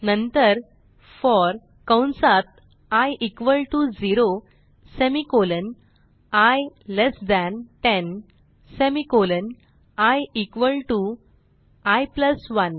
नंतर फोर कंसात i equal to 0 semicolon i less than 10 semicolon i equal to i plus 1